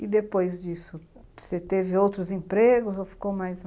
E depois disso, você teve outros empregos ou ficou mais lá?